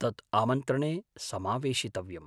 तत् आमन्त्रणे समावेशितव्यम्।